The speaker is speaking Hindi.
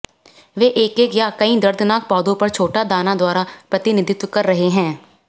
वे एक एक या कई दर्दनाक पौधों पर छोटा दाना द्वारा प्रतिनिधित्व कर रहे हैं